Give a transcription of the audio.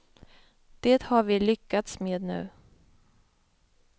Det har vi lyckats med nu.